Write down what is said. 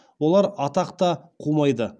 олар атақ та қумайды